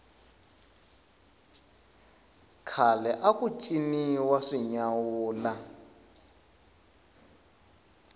khale aku ciniwa swinyawula